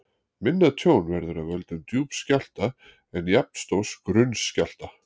Minna tjón verður af völdum djúps skjálfta en jafnstórs grunns skjálfta.